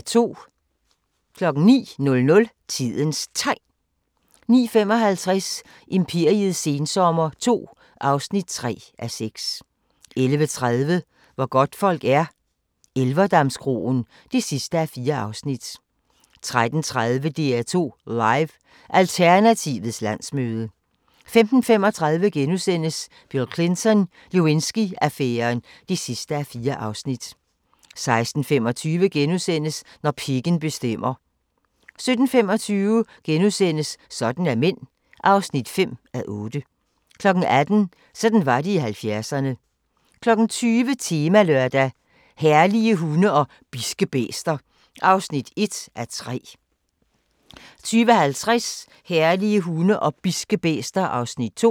09:00: Tidens Tegn 09:55: Imperiets sensommer II (3:6) 11:30: Hvor godtfolk er - Elverdamskroen (4:4) 13:30: DR2 Live: Alternativets landsmøde 15:35: Bill Clinton: Lewinsky-affæren (4:4)* 16:25: Når pikken bestemmer * 17:25: Sådan er mænd (5:8)* 18:00: Sådan var det i 70'erne 20:00: Temalørdag: Herlige hunde og bidske bæster (1:3) 20:50: Herlige hunde og bidske bæster (2:3)